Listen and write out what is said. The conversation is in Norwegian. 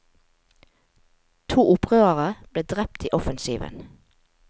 To opprørere ble drept i offensiven.